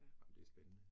Ej, men det spændende